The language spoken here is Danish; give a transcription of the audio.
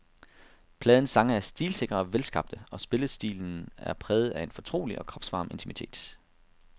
Pladens sange er stilsikre og velskabte, og spillestilen er præget af en fortrolig og kropsvarm intimitet.